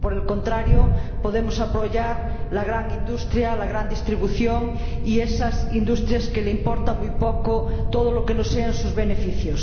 O, por el contrario, podemos apoyar la gran industria, la gran distribución y esas industrias a las que les importa muy poco todo lo que no sean sus beneficios.